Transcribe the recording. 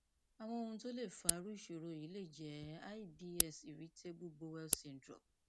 àwọn ohun tó lè fa irú ìṣòro yìí lè jẹ ibs irritable bowel syndrome